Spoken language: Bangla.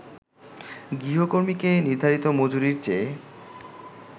গৃহকর্মীকে নির্ধারিত মজুরির চেয়ে